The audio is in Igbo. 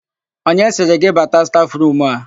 Onye sịrị gị bata stafụrumu a?